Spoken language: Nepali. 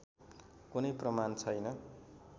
कुनै प्रमाण छैन